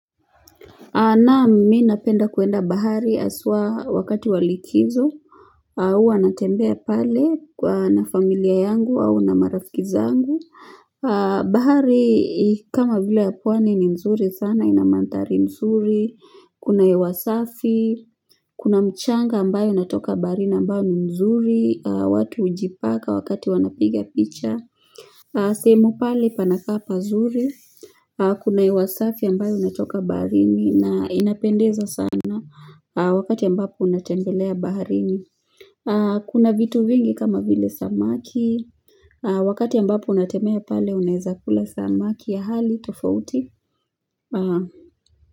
Naam mimi napenda kuenda bahari haswa wakati wa likizo au huwa natembea pale na familia yangu au na marafiki zangu bahari kama vile ya pwani ni nzuri sana ina manthari nzuri kuna hewa safi Kuna mchanga ambayo inatoka baharini ambayo ni mzuri watu hujipaka wakati wanapiga picha sehemu pale panakaa pazuri Kuna hewa safi ambayo inatoka baharini na inapendeza sana Wakati ambapo unatembelea baharini Kuna vitu vingi kama vile samaki Wakati ambapo unatembea pale unaweza kula samaki ya hali tofauti.